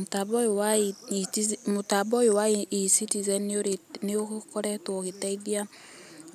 Mũtambo ũyũ wa E-citizen, mũtambo ũyũ wa E-citizen nĩ ũkoretwo ũgĩteithia